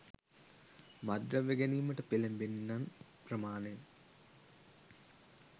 මත්ද්‍රව්‍ය ගැනීමට පෙලඹෙන්නන් ප්‍රමාණය